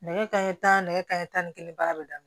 Nɛgɛ kanɲɛ tanɛ ka taa ni kelen baara bɛ daminɛ